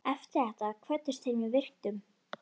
Eftir þetta kvöddust þeir með virktum.